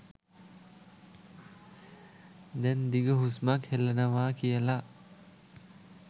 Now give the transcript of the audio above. දැන් දිග හුස්මක් හෙලනවා කියල.